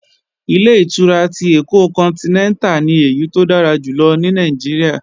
Ilé-ìtura ti Èkó kọntinẹ́ntà ni èyí tó dára jù lọ ní Nàìjíríà